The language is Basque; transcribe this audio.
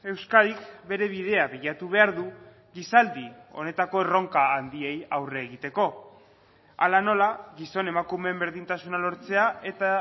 euskadik bere bidea bilatu behar du gizaldi honetako erronka handiei aurre egiteko hala nola gizon emakumeen berdintasuna lortzea eta